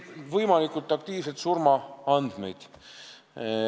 Võimalikult aktiivselt kogume kindlasti surmaandmeid.